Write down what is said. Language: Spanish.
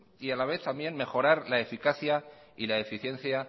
y a la vez también mejorar la eficacia y la eficiencia